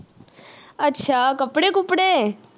ਅੱਛਾ ਕਪੜੇ ਕੁਪੜੇ